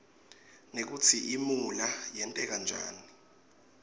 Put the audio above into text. nekutsi imuula yerteka njani